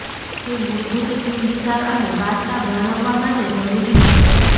તે મૂળભૂત થીમ વિચાર અને વાર્તા વર્ણવવા માટે જરૂરી છે